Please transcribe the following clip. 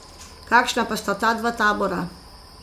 Kakšna pa sta ta dva tabora?